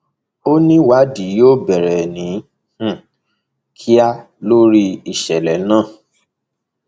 ó ní ìwádìí yóò bẹrẹ ní um kíá lórí ìṣẹlẹ náà